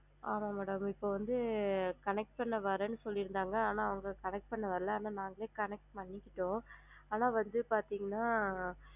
ஆமா madam இப்ப வந்து connect ல வரேன்னு சொல்லிருந்தாங்க பண்ண வரேன்னு சொல்லிஇருந்தாங்க ஆனா அவுங்க connect பண்ண வரல ஆனா நாங்களே connect பண்ணிட்டோம், ஆனா வந்து பாத்திங்கனா,